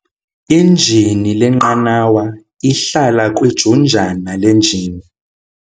Injini lenqanawa ihlala kwijunjana lenjini.